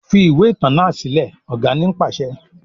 Fi ìwé ìtàn náà sílẹ̀! Ọ̀gá ni pàṣẹ.